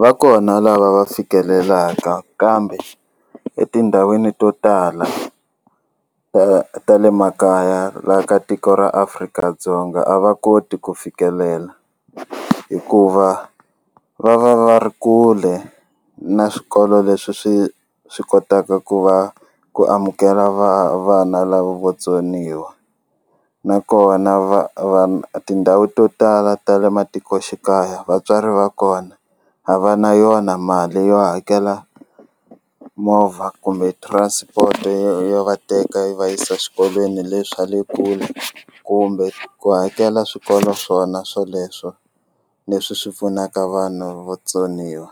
Va kona lava va fikelelaka kambe etindhawini to tala ta ta le makaya la ka tiko ra Afrika-Dzonga a va koti ku fikelela hikuva va va va ri kule na swikolo leswi swi swi kotaka ku va ku amukela va vana lava va vatsoniwa nakona va va tindhawu to tala ta le matikoxikaya vatswari va kona a va na yona mali yo hakela movha kumbe transport yo va teka yi va yisa xikolweni leswi swa le kule kumbe ku hakela swikolo swona swoleswo leswi swi pfunaka vanhu vo tsoniwa